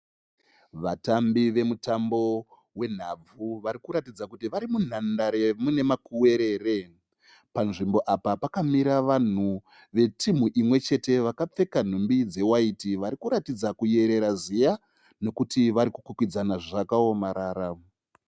Vatambi vemutambo wenhabvu varikuratidza kuti vari munhandare muine makuwerere. Panzvimbo apa pakamira vanhu vetimhu imwe chete vakapfeka nhumbi dzewaiti vari kuratidza kuyerera ziya nekuti vari kukwikwidzana zvakaomarara.